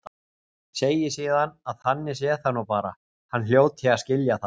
Segi síðan að þannig sé það nú bara, hann hljóti að skilja það.